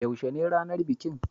Yaushe ne ranar bikin?